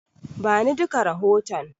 Bani duka rahoton.